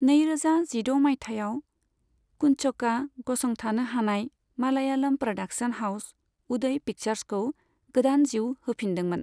नैरोजा जिद' मायथाइयाव, कुंचकआ गसंथानो हानाय मालयालम प्रदाक्सन हाउस उदय पिक्सार्सखौ गोदान जीउ होफिनदोंमोन।